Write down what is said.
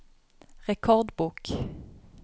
rekordbok